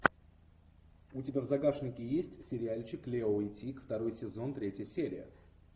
у тебя в загашнике есть сериальчик лео и тиг второй сезон третья серия